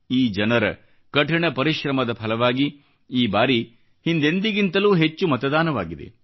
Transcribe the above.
ಈ ಜನರ ಕಠಿಣ ಪರಿಶ್ರಮದ ಫಲವಾಗಿ ಈ ಬಾರಿ ಹಿಂದೆಂದಿಗಿಂತಲೂ ಹೆಚ್ಚು ಮತದಾನವಾಗಿದೆ